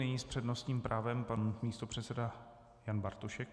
Nyní s přednostním právem pan místopředseda Jan Bartošek.